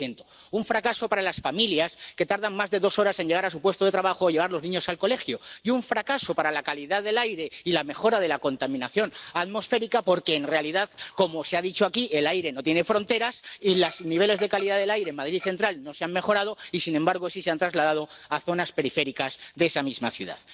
15 un fracaso para las familias, que tardan más de dos horas en llegar a su puesto de trabajo o llevar a los niños al colegio, y un fracaso para la calidad del aire y la mejora de la contaminación atmosférica, porque en realidad —como se ha dicho aquí— el aire no tiene fronteras y los niveles de contaminación del aire en Madrid Central no se han mejorado y, sin embargo, sí se han trasladado a zonas periféricas de esa misma ciudad.